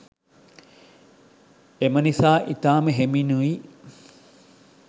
එම නිසා ඉතාම හෙමිනුයි